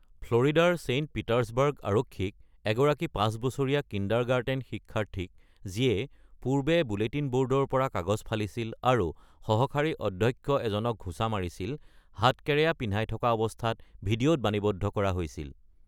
ফ্লৰিডাৰ Saint Petersburg আৰক্ষীয়ে, পূৰ্বে bulletin ব’ৰ্ডৰ পৰা কাগজ ফালি সহকাৰী অধ্যক্ষক ঘুচা মৰা পাঁচ বছৰীয়া কিণ্ডাৰগাৰ্টেন শিক্ষাৰ্থীক হেণ্ডকাফ কৰি থকা ভিডিঅ’ত বাণীৱদ্ধ কৰা হৈছিল।